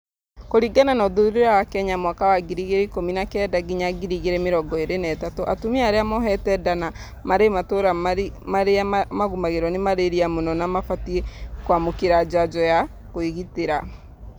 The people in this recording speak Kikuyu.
Kũringana na ũthuthuria wa kenya mwaka wa 2019 nginya 2023, atumia arĩa mohete nda na marĩ matũra marĩa magũmagĩrwo nĩ malaria mũno nĩ mabatiĩ kwamũkĩra njanjo ya kũĩgitĩra